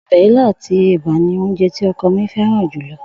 O̩bè̩ ilá àti è̩bà ni oúnje tí o̩ko̩ mi féràn jù lo̩